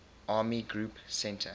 army group centre